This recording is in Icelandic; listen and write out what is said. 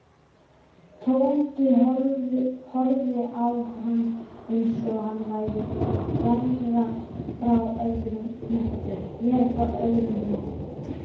Tóti horfði á hann eins og hann væri vera frá öðrum hnetti.